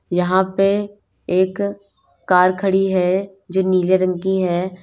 यहां पे एक कार खड़ी है जो नीले रंग की है।